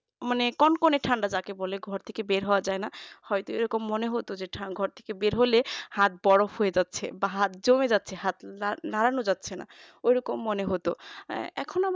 মানে কনকনে ঠান্ডা যাকে বলে ঘর থেকে বের হওয়া যায় না হয়তো এরকম মনে হতো ঠান্ডা ঘর থেকে বেরবো ঘর থেকে বের হলে হাত বরফ হয়ে যাচ্ছে বা হাত জমে যাচ্ছে হাত নাড়ানো যাচ্ছে না ওই রকম মনে হতো এখনো